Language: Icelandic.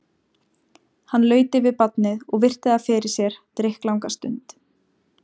Hann laut yfir barnið og virti það fyrir sér drykklanga stund.